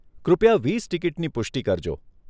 કૃપયા વીસ ટીકીટની પુષ્ટિ કરજો.